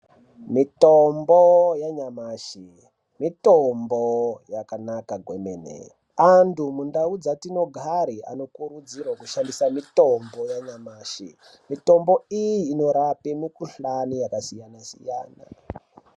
Mitombo yanyamashi, mitombo yakanaka gwemene. Antu mundau dzatinogara anokurudzirwa kushandisa mitombo yanyamashi. Mitombo iyi inorape mikhuhlane yakasiyana-siyana.